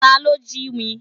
Ta ló jí mi?